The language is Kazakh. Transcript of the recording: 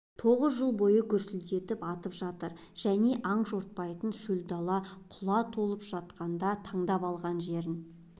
отыз жыл бойы гүрсілдетіп атып жатыр және аң жортпайтын шөл дала құла толып жатқанда таңдап алған жерін